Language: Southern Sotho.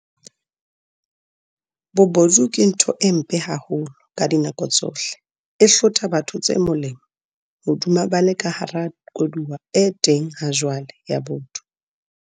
Bobodu ke ntho e mpe haholo ka dinako tsohle, e hlotha batho tse molemo hodima ba le ka hara koduwa e teng hajwale ya botho.